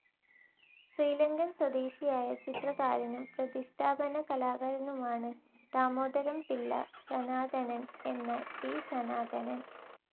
ശ്രീലങ്കൻ സ്വദേശിയായ ചിത്രകാരനും പ്രതിഷ്ഠാപന കലാകാരനുമാണ് ദാമോദരംപിള്ള ശനാതനൻ എന്ന ടി. ശനാതനൻ.